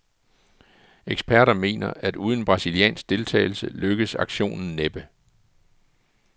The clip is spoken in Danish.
Eksperter mener, at uden brasiliansk deltagelse lykkes aktionen næppe.